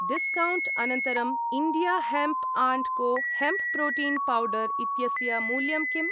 Discount अनन्तरं India hemp and co hemp protein powder इत्यस्य मूल्यं किम्?